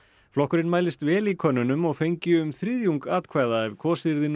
flokkurinn mælist vel í könnunum og fengi um þriðjung atkvæða ef kosið yrði nú